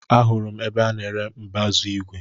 Ahụrụ m ebe a ná-ere mbazu igwe.